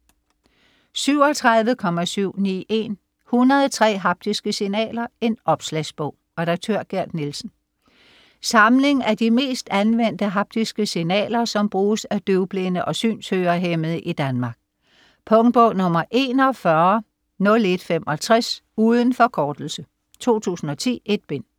37.791 103 haptiske signaler: en opslagsbog Redaktør: Gerd Nielsen. Samling af de mest anvendte haptiske signaler, som bruges af døvblinde og synshørehæmmede i Danmark. Punktbog 410165. Uden forkortelse. 2010. 1 bind.